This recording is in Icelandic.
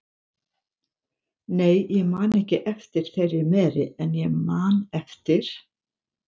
Nei, ég man ekki eftir þeirri meri, en ég man eftir